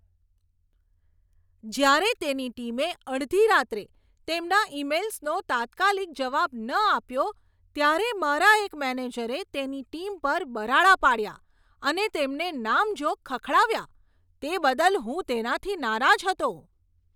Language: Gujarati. જ્યારે તેની ટીમે અડધી રાત્રે તેમના ઈમેઈલ્સનો તાત્કાલિક જવાબ ન આપ્યો ત્યારે મારા એક મેનેજરે તેની ટીમ પર બરાડા પાડ્યા અને તેમને નામજોગ ખખડાવ્યા તે બદલ હું તેનાથી નારાજ હતો.